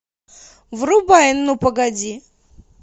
врубай ну погоди